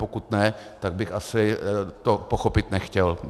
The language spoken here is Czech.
Pokud ne, tak bych to asi pochopit nechtěl.